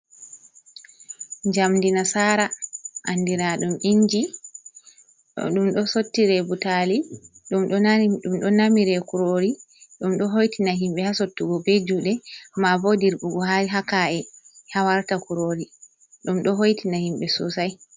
Njamdi nasara andira ɗum inji, ɗum ɗo sottire butali, ɗum ɗo namire kurori. Ɗo hoitina himɓe ha sottugo be juuɗe ma bo dirɓugo ha ka’e ha warta kurori, ɗum ɗo hoitina himɓe sosai.